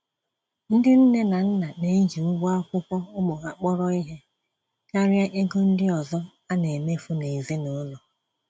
Ndị nné na nna neji ụgwọ akwụkwọ ụmụ ha kpọrọ ìhè, karịa égo ndị ọzọ anemefu nezinụlọ